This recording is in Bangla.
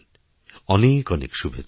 অনেক অনেক শুভেচ্ছা